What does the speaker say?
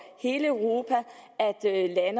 hele europa